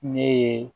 Ne ye